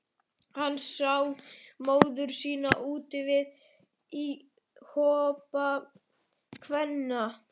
Hann sá móður sína úti við í hópi kvenna.